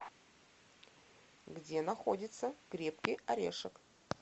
где находится крепкий орешек